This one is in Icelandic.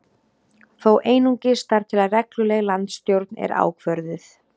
Þó einungis þar til að regluleg landsstjórn er ákvörðuð